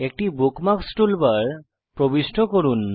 একটি bookmarks toolbar প্রবিষ্ট করুন